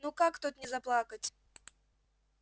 ну как тут не заплакать